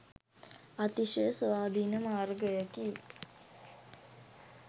අතිශය ස්වාධීන මාර්ගයකි.